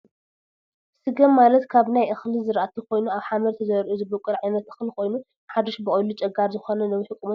ስገም ማለት ካብ ናይ እክሊ ዝራእቲ ኮይኑ ኣብ ሓመድ ተዘሪኡ ዝቦቅል ዓይነት እክሊ ኮይኑ ሓዱሽ በቂሉ ጨጋር ዝኮነ ነዊሕ ቁመት ዘለዎ እዩ።